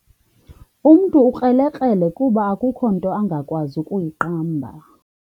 Umntu ukrelekrele kuba akukho nto angakwazi kuyiqamba.